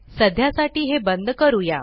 सध्यासाठी हे बंद करूया